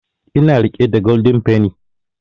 Ina riƙe da golden penny